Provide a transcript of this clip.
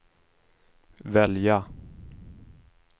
välja